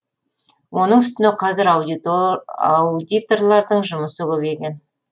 оның үстіне қазір аудиторлардың жұмысы көбейген